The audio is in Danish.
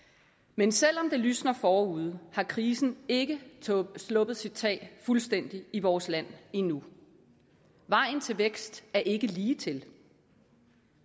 men selv om det lysner forude har krisen ikke sluppet sit tag fuldstændigt i vores land endnu vejen til vækst er ikke ligetil